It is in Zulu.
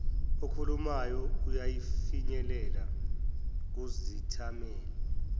okhulumayo uyafinyelela kuzithameli